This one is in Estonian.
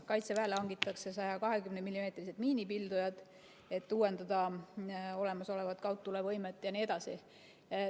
Kaitseväele hangitakse 120‑millimeetrised miinipildujad, et uuendada olemasolevat kaugtulevõimet jne.